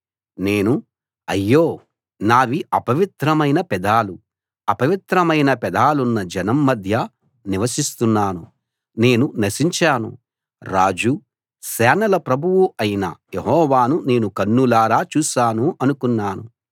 నేను అయ్యో నావి అపవిత్రమైన పెదాలు అపవిత్రమైన పెదాలున్న జనం మధ్య నివసిస్తున్నాను నేను నశించాను రాజు సేనల ప్రభువు అయిన యెహోవాను నేను కన్నులారా చూశాను అనుకున్నాను